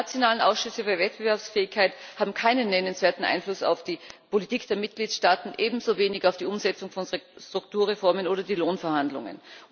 Die nationalen Ausschüsse für Wettbewerbsfähigkeit haben keinen nennenswerten Einfluss auf die Politik der Mitgliedstaaten, ebenso wenig auf die Umsetzung von Strukturreformen oder die Lohnverhandlungen.